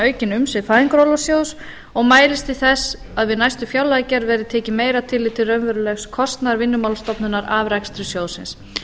aukin umsvif fæðingarorlofssjóðs og mælist til þess að við næstu fjárlagagerð verði tekið meira tillit til raunverulegs kostnaðar vinnumálastofnunar af rekstri sjóðsins